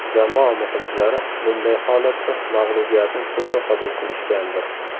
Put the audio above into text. Jamoa muxlislari bunday holatda mag‘lubiyatni to‘g‘ri qabul qilishgandir?